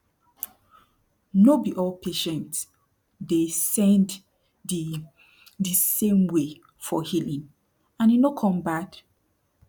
no be all patient dey send de de same way for healing and e no con bad